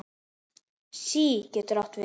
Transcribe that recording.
SÍ getur átt við